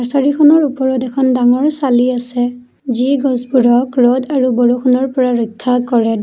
ছাৰীখনৰ ওপৰত এখন ডাঙৰ চালি আছে যি গছবোৰক ৰ'দ আৰু বৰষুণৰ পৰা ৰক্ষা কৰে।